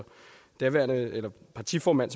daværende partiformand